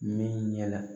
Min ɲɛna